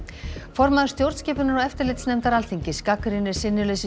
formaður stjórnskipunar og eftirlitsnefndar Alþingis gagnrýnir sinnuleysi